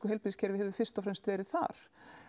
heilbrigðiskerfi hefur verið þar